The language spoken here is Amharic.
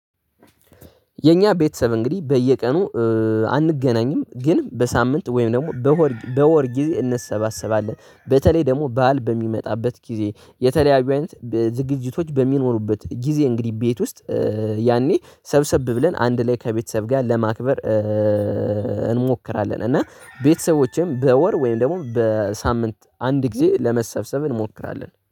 የኛ ቤተሰብ እንግዲህ በየቀኑ አንገናኝም። ግን በሳምንት ወይም ደግሞ በወር በወር ጊዜ እንሰባሰባለን በተለይ ደግሞ ባል በሚመጣበት ጊዜ የተለያዩ አይነት ዝግጅቶች በሚኖሩበት ጊዜ እንግዲህ ቤት ውስጥ ያኔ ሰብሰብ ብለን አንድ ላይ ከቤተሰብ ጋር ለማክበር። እና ቤተሰቦቼም በወር ወይም ደግሞ በሳምንት አንድ ጊዜ ለመሰብሰብ እንሞክራለን